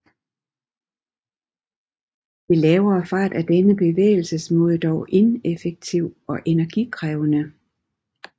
Ved lavere fart er denne bevægelsesmåde dog ineffektiv og energikrævende